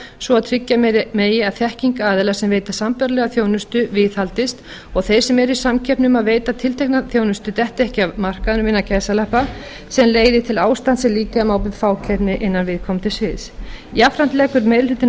svo að tryggja megi að þekking aðila sem veita sambærilega þjónustu viðhaldist og að þeir sem eru í samkeppni um að veita tiltekna þjónustu detti ekki af markaðnum sem leiði til ástands sem líkja má við fákeppni innan viðkomandi sviðs jafnframt leggur meiri hlutinn